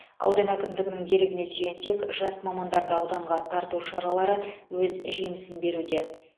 аудан әкімдігінің дерегіне сүйенсек жас мамандарды ауданға тарту шаралары өз жемісін беруде